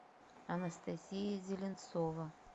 анастасия зеленцова